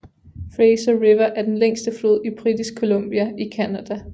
Fraser River er den længste flod i Britisk Columbia i Canada